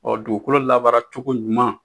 Ɔ dugukolo labaara cogo ɲuman